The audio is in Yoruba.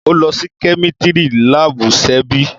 Ọ lọ si Kẹmitìrí làbú, sẹbí?